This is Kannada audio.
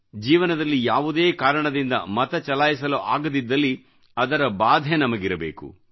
ಜೀವನದಲ್ಲಿ ಯಾವುದೇ ಕಾರಣದಿಂದ ಮತಚಲಾಯಿಸಲು ಆಗದಿದ್ದಲ್ಲಿ ಅದರ ಬಾಧೆ ನಮಗಿರಬೇಕು